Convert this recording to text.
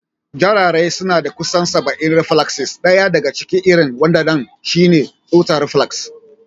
Jarirai suna da kusan saba'in reflaksis, ɗaya daga cikin irin wadannan shi ne tsotsa reflax.